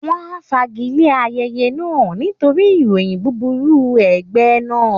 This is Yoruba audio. Wọ́n á fagilé ayẹyẹ náà nítorí ìròyìn búburú ẹgbẹ́ náà